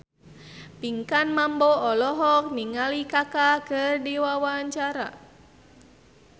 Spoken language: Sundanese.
Pinkan Mambo olohok ningali Kaka keur diwawancara